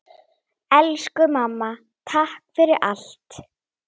Elsku mamma, takk fyrir allt!